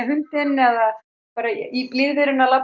eða bara í blíðviðrinu að